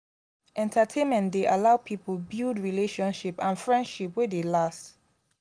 entertainment dey allow pipo build relationship and friendship wey dey last